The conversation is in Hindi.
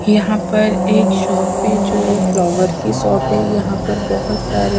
यहां पर एक शॉप है जो फ्लावर की शॉप है यहां पर बहुत सारी।